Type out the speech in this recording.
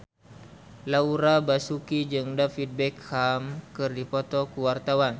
Laura Basuki jeung David Beckham keur dipoto ku wartawan